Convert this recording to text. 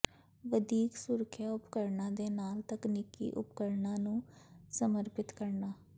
ਵਧੀਕ ਸੁਰੱਖਿਆ ਉਪਕਰਣਾਂ ਦੇ ਨਾਲ ਤਕਨੀਕੀ ਉਪਕਰਣਾਂ ਨੂੰ ਸਮਰਪਿਤ ਕਰਨਾ